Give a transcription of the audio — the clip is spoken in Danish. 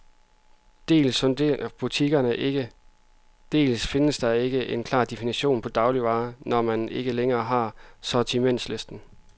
Dels sondrer butikkerne ikke, dels findes der ikke en klar definition på dagligvarer, når man ikke længere har sortimentslisten.